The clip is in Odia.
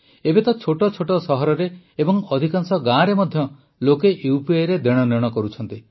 ଏବେ ତ ଛୋଟ ଛୋଟ ସହରରେ ଏବଂ ଅଧିକାଂଶ ଗାଁରେ ମଧ୍ୟ ଲୋକେ ୟୁପିଆଇରେ ଦେଣନେଣ କରୁଛନ୍ତି